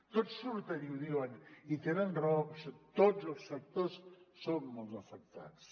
tots surten i ho diuen i tenen raó tots els sectors són molt afectats